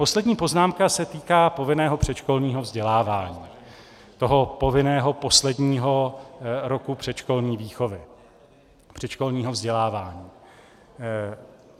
Poslední poznámka se týká povinného předškolního vzdělávání, toho povinného posledního roku předškolní výchovy, předškolního vzdělávání.